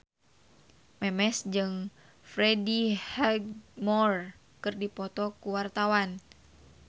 Memes jeung Freddie Highmore keur dipoto ku wartawan